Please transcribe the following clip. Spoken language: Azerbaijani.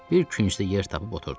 Bir küncdə yer tapıb oturdum.